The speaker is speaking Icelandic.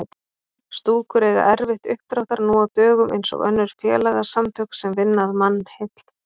Stúkur eiga erfitt uppdráttar nú á dögum eins og önnur félagasamtök sem vinna að mannheill.